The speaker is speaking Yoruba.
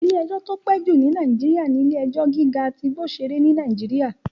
Ilé-ẹjọ́ tó ti pẹ́ jù ní Nàìjíríyà ní Ilé-ẹjọ́ gíga tí Igbosere ní Nàìjíríyà